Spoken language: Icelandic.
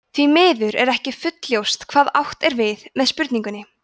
því miður er ekki fullljóst hvað átt er við með spurningunni